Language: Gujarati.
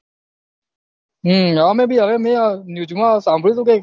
હમ હા મેં ભી હવે news સાંભળ્યું હતું કઈક